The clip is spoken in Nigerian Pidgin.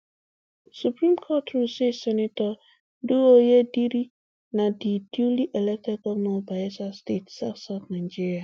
supreme court rule say sen douye diri na di duly elected govnor of bayelsa state southsouth nigeria